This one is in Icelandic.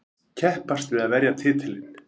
Keppast við að verja titilinn.